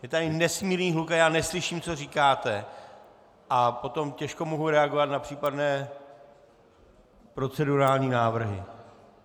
Je tady nesmírný hluk a já neslyším, co říkáte, a potom těžko mohu reagovat na případné procedurální návrhy.